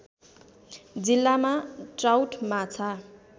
जिल्लामा ट्राउट माछा